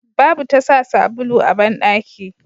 Babu tasa sabulu a bandaki